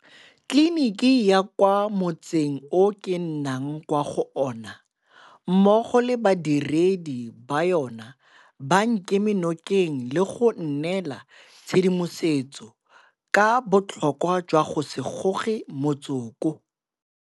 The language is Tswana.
Tleliniki ya kwa mo tseng o ke nnang kwa go ona mmogo le badiredi ba yona ba nkeme nokeng le go nnela tshedimosetso ka botlhokwa jwa go se goge motsoko.